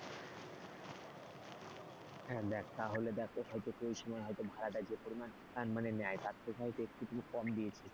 হ্যাঁ দেখ তাহলে দেখ হয়তো ওই সময় হয়তো ভাড়াটা যে পরিমাণ মানে নেয় তার থেকে হয়তো একটু কম দিয়েছিস,